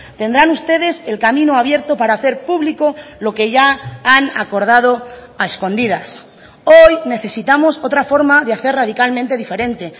tendrán ustedes el camino abierto para hacer público lo que ya han acordado a escondidas hoy necesitamos otra forma de hacer radicalmente diferente